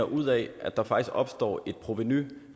ud af at der faktisk opstår et provenu